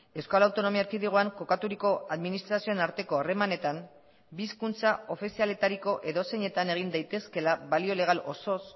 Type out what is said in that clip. euskal autonomia erkidegoan kokaturiko administrazioen arteko harremanetan bi hizkuntza ofizialetariko edozeinetan egin daitezkeela balio legal osoz